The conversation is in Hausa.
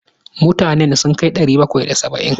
Mutanen sun kai ɗari bakwai da saba'in?